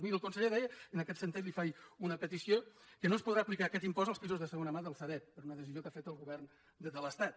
miri el conseller deia en aquest sentit li faig una petició que no es podrà aplicar aquest impost als pisos de segona mà del sareb per una decisió que ha fet el govern de l’estat